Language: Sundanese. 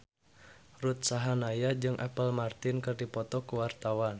Ruth Sahanaya jeung Apple Martin keur dipoto ku wartawan